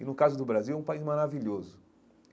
E no caso do Brasil, é um país maravilhoso.